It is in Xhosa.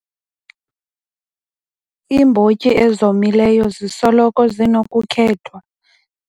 Iimbotyi ezomileyo zisoloko zinokukhethwa.